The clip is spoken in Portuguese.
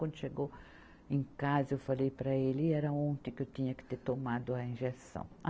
Quando chegou em casa, eu falei para ele e era ontem que eu tinha que ter tomado a injeção.